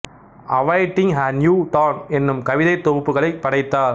awaiting a new dawn என்னும் கவிதைத் தொகுப்புகளைப் படைத்தார்